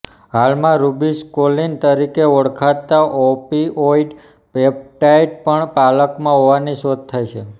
હાલમાં રુબીસકોલીન તરીકે ઓળખાતા ઓપીઓઈડ પેપ્ટાઈડ પણ પાલકમાં હોવાની શોધ થઈ છે